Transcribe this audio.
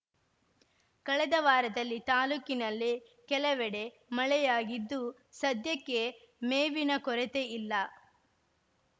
ಕಳೆದ ವಾರದಲ್ಲಿ ತಾಲೂಕಿನಲ್ಲಿ ಕೆಲವೆಡೆ ಮಳೆಯಾಗಿದ್ದು ಸದ್ಯಕ್ಕೆ ಮೇವಿನ ಕೊರೆತೆಯಿಲ್ಲ